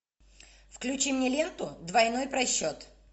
включи мне ленту двойной просчет